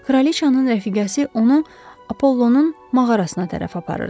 Kraliçanın rəfiqəsi onu Apollonun mağarasına tərəf aparırdı.